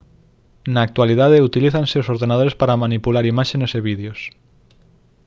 na actualidade utilízanse os ordenadores para manipular imaxes e vídeos